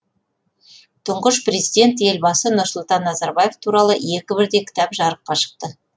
тұңғыш президент елбасы нұрсұлтан назарбаев туралы екі бірдей кітап жарыққа шықты